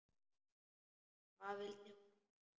Hvað vildi hún hingað?